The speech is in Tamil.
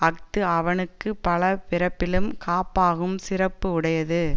அஃது அவனுக்கு பல பிறப்பிலும் காப்பாகும் சிறப்பு உடையது